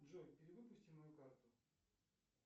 джой перевыпусти мою карту